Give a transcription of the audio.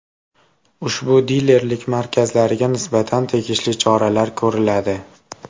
Ushbu dilerlik markazlariga nisbatan tegishli choralar ko‘riladi.